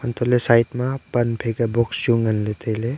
antoh ley side pan phaI kya box chu ngan ley tailey.